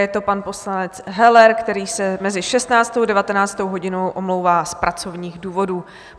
Je to pan poslanec Heller, který se mezi 16. a 19. hodinou omlouvá z pracovních důvodů.